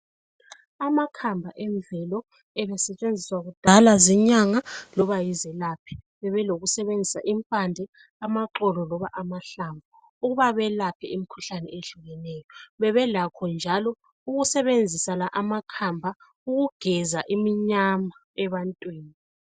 Amakhamba emvelo ebesetshenziswa kudala zinyanga loba yizelaphi. Bebelokusebenzisa impande, amaxolo loba amahlamvu ukuba belaphe imikhuhlane ehlukeneyo. Bebelakho njalo ukusebenzisa la amakhamba ukugeza iminyama ebantwini.